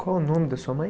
Qual o nome da sua mãe?